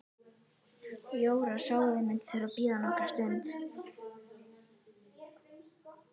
Jóra sá að þau mundu þurfa að bíða nokkra stund.